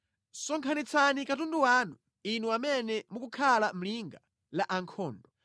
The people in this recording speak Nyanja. Sonkhanitsani katundu wanu, inu amene mukukhala mʼlinga la ankhondo.